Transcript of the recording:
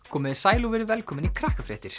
komiði sæl og verið velkomin í